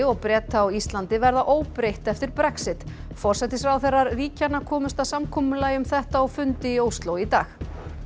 og Breta á Íslandi verða óbreytt eftir Brexit forsætisráðherrar ríkjanna komust að samkomulagi um þetta á fundi í Ósló í dag